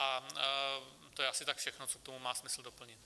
A to je asi tak všechno, co k tomu má smysl doplnit.